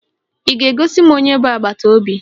Ị ga-egosi m onye bụ agbataobi?